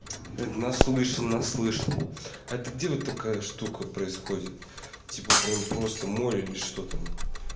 это наслышан наслышан это где вот такая штука происходит типа прямо просто море или что там